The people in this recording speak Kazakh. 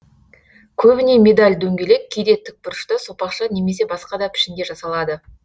көбіне медаль дөңгелек кейде тік бұрышты сопақша немесе басқа да пішінде жасалады